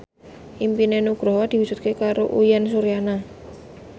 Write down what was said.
impine Nugroho diwujudke karo Uyan Suryana